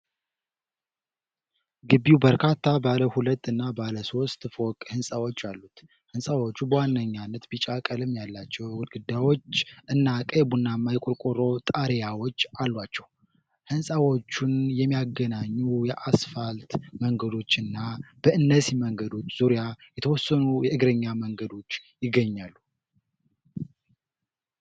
ግቢው በርካታ ባለ ሁለት እና ባለ ሶስት ፎቅ ህንጻዎች አሉት። ህንጻዎቹ በዋነኛነት ቢጫ ቀለም ያላቸው ግድግዳዎች እና ቀይ-ቡናማ የቆርቆሮ ጣሪያዎች አሏቸው። ህንጻዎቹን የሚያገናኙ የአስፋልት መንገዶች እና በእነዚህ መንገዶች ዙሪያ የተወሰኑ የእግረኛ መንገዶች ይገኛሉ።